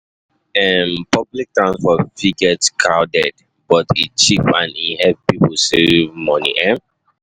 um Public transport fit get crowded, but e cheap and e help save money. um